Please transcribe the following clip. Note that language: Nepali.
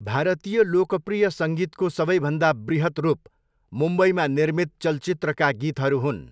भारतीय लोकप्रिय सङ्गीतको सबैभन्दा बृहत् रूप मुम्बईमा निर्मित चलचित्रका गीतहरू हुन्।